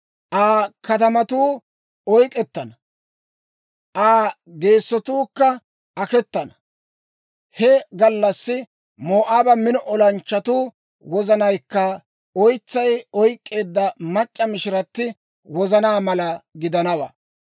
Aa katamatuu oyk'k'ettana; Aa geesatuukka aketana. He gallassi Moo'aaba mino olanchchatuwaa wozanaykka oytsay oyk'k'eedda mac'c'a mishirati wozanaa mala gidanawaa.